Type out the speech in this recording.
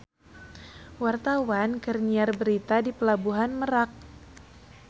Wartawan keur nyiar berita di Pelabuhan Merak